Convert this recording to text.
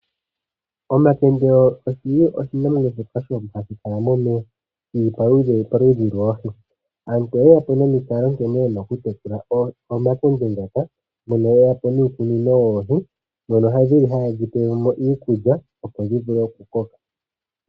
Omakende oshinamwenyo shoka hashi kala momeya, shimwe shomomaludhi goohi. Aantu oye ya po nomikalo nkene ye na okutekula omakende ngaka, mpono ye ya po niikunino yoohi mono haye dhi pele mo iikulya, opo dhi vule okukoka.